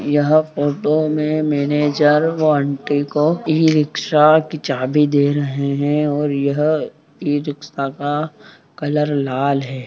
यहाँ फोटो में मैनेजर वो आंटी को ई-रिक्शा की चाबी दे रहे है और यह ई रिक्शा का कलर लाल है।